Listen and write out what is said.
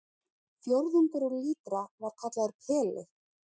Fjórðungur úr lítra var kallaður peli.